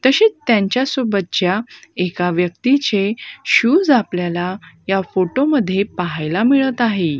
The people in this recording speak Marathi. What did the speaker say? तसेच त्यांच्या सोबतच्या एका व्यक्तीचे शूज आपल्याला या फोटो मध्ये पाहायला मिळत आहे.